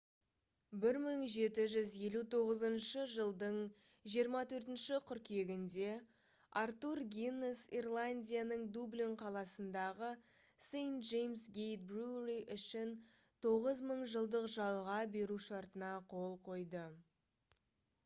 1759 жылдың 24 қыркүйегінде артур гиннес ирландияның дублин қаласындағы st james' gate brewery үшін 9000 жылдық жалға беру шартына қол қойды